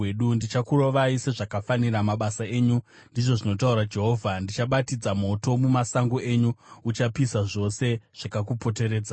Ndichakurovai sezvakafanira mabasa enyu, ndizvo zvinotaura Jehovha. Ndichabatidza moto mumasango enyu uchapisa zvose zvakakupoteredzai.’ ”